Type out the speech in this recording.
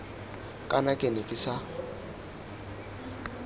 kana ke ne ke sa